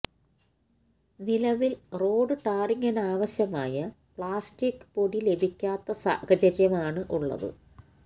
നിലവില് റോഡ് ടാറിംഗിനാവശ്യമായ പ്ലാസ്റ്റിക് പൊടി ലഭിക്കാത്ത സാഹചര്യമാണ് ഉളളത്